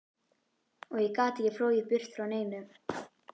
Og ég get ekki flogið burt frá neinu.